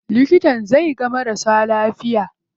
Likitan zai ga marasa lafiya.